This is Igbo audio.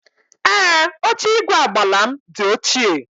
Ee, oche igwe agbala m di ochie.